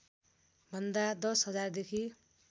भन्दा १० हजारदेखि